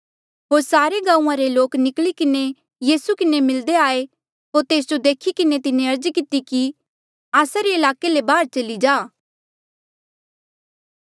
होर सारे गांऊँआं रे लोक निकली किन्हें यीसू किन्हें मिल्दे आये होर तेस जो देखी किन्हें तिन्हें अर्ज किती कि आस्सा रे ईलाके ले बाहर चली जा